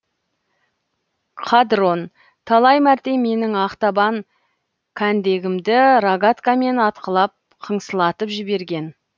қадрон талай мәрте менің ақтабан кәндегімді рагаткамен атқылап қыңсылатып жіберген